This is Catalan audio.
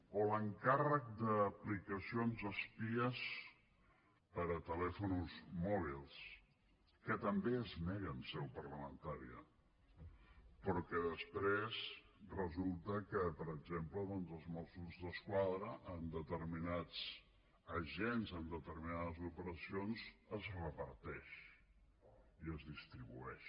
o l’encàrrec d’aplicacions espies per a telèfons mòbils que també es nega en seu parlamentària però que després resulta que per exemple als mossos d’esquadra a determinats agents en determinades operacions es reparteix i es distribueix